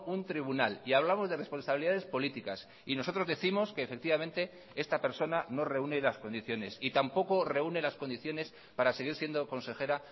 un tribunal y hablamos de responsabilidades políticas y nosotros décimos que efectivamente esta persona no reúne las condiciones y tampoco reúne las condiciones para seguir siendo consejera